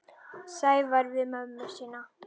Sævar við mömmu sína.